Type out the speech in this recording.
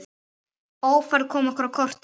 Ófærð kom okkur á kortið.